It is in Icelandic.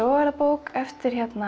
er það bók eftir